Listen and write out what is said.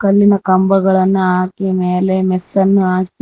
ಇಲ್ಲಿನ ಕಂಬಗಳನ್ನ ಹಾಕಿ ಮೇಲೆ ಮೆಸ್ಸ ನ್ನು ಹಾಕಿ--